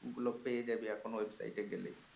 গুলো পেয়ে যাবি এখন website এ গেলে